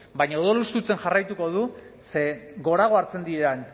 baina odol hustutzen jarraituko du ze gorago hartzen diren